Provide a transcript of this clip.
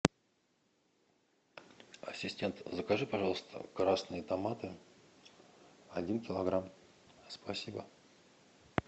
ассистент закажи пожалуйста красные томаты один килограмм спасибо